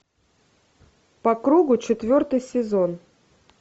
по кругу четвертый сезон